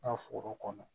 Ka foro kɔnɔ